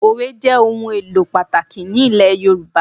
Òwe jẹ́ ohun èlò pàtàkì ní ilẹ̀ Yorùbá